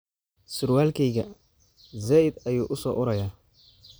Suurwalkeyka said ayuu uu so uraayaa